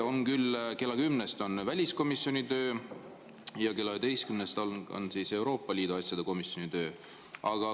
Kella 10‑st on väliskomisjoni töö ja kella 11‑st on Euroopa Liidu asjade komisjoni töö.